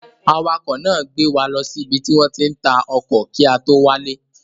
Awakọ̀ náà gbé wa lọ sí ibi tí wọ́n ti ń ta ọkọ̀ kí a tó wálé.